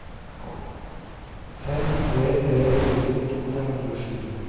fem tre tre fire førtito fem hundre og sju